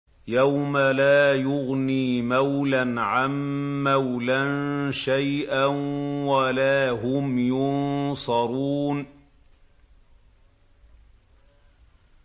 يَوْمَ لَا يُغْنِي مَوْلًى عَن مَّوْلًى شَيْئًا وَلَا هُمْ يُنصَرُونَ